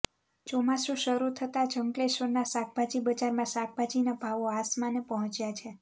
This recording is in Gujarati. ચોમાસુ શરૃ થતાં જ અંકલેશ્વરના શાકભાજી બજારમાં શાકભાજીના ભાવો આસમાને પહોંચ્યા છે